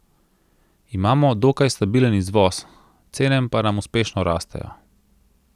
Imamo dokaj stabilen izvoz, cene pa nam uspešno rastejo.